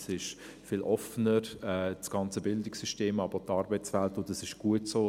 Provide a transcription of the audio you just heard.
Das ganze Bildungssystem ist viel offener, aber auch die Arbeitswelt, und das ist gut so.